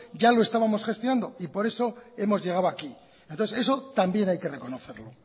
ya lo estábamos gestionando y por eso hemos llegado aquí entonces eso también hay que reconocerlo